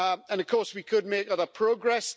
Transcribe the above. Of course we could make other progress.